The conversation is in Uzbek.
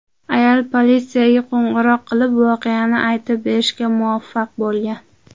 Ayol politsiyaga qo‘ng‘iroq qilib, voqeani aytib berishga muvaffaq bo‘lgan.